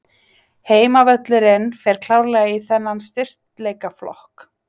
Heimavöllurinn fer klárlega í þennan styrkleikaflokk.